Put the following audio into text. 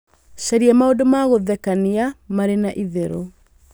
caria maũndũ ma gũthekania marĩ na itherũ